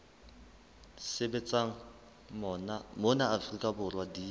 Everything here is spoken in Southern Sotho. sebetsang mona afrika borwa di